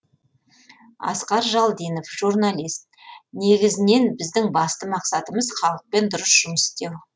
асқар жалдинов журналист негізінен біздің басты мақсатымыз халықпен дұрыс жұмыс істеу